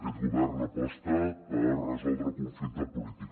aquest govern aposta per resoldre el conflicte polític